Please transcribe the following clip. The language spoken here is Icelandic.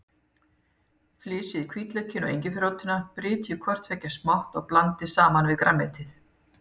Flysjið hvítlaukinn og engiferrótina, brytjið hvort tveggja smátt og blandið saman við grænmetið.